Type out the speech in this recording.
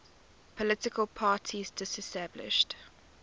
political parties disestablished